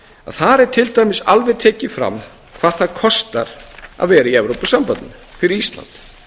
þar er til dæmis alveg tekið fram hvað það kostar að vera í evrópusambandinu fyrir ísland